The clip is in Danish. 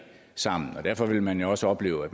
sammen derfor vil man også opleve at